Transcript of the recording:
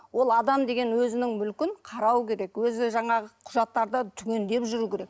ол адам деген өзінің мүлкін қарау керек өзі жаңағы құжаттарды түгендеп жүру керек